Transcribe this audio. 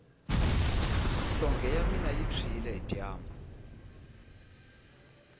nhlonge ya mina yi tshwile hi dyambu